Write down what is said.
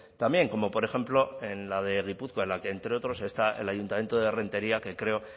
también como por ejemplo en la de gipuzkoa en la que entre otros está el ayuntamiento de renteria que creo